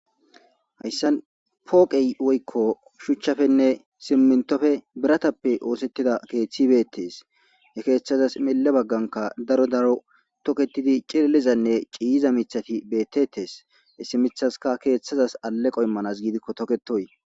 hayssan pooqey woykko shuchchafenne simmintofe biratappe oosettida keeththi beettees he keeththazas mille bagganka daro daro toketidi cillizanne ciiza mithati beettetees essimithaska keeththazas alle qoimmanas giidikko toketoy